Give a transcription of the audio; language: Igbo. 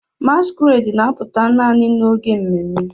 Masquerades na-apụta naanị n'oge ememme.